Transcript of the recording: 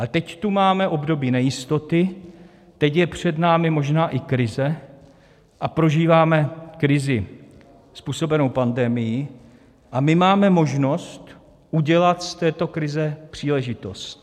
A teď tu máme období nejistoty, teď je před námi možná i krize a prožíváme krizi způsobenou pandemií a my máme možnost udělat z této krize příležitost.